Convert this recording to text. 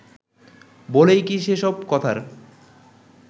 বলেই কি সে সব কথার